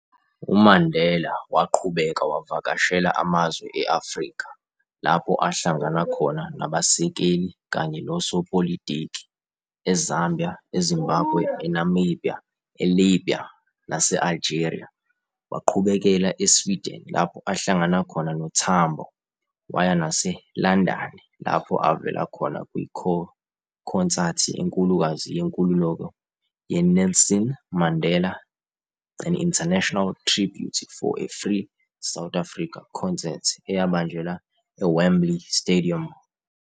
UMandela waqhubeka wavakashela amazwe eAfrika, lapho ahlangana khona nabasekeli, kanye nosopolitiki, eZambia, eZimbabwe, eNamibia, eLibya nase-Algeria, waqhubekela eSweden lapho ahlangana khona noTambo, waya naseLandani, lapho avela khona kwikhonsathi enkulukazi yenkululeko ye-Nelson Mandela- An International Tribute for a Free South Africa concert eyabanjelwa eWembley Stadium.